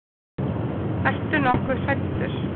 Ertu nokkuð hræddur?